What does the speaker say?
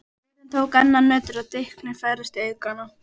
Jörðin tók enn að nötra og dynkirnir færðust í aukana.